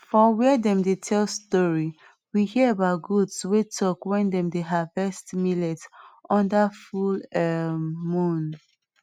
for where dem dey tell story we hear about goats wey talk wen dem dey harvets millet under full um moon